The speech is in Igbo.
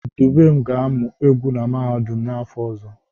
Dubem ga-amụ egwu na mahadum n'afọ ọzọ